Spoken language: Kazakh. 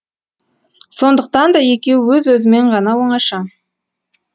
сондықтан да екеуі өз өзімен ғана оңаша